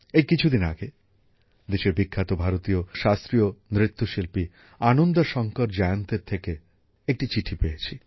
এই কিছুদিন আগে দেশের বিখ্যাত ভারতীয় শাস্ত্রীয় নৃত্যশিল্পী আনন্দা শঙ্কর জয়ন্তের থেকে একটি চিঠি পেয়েছি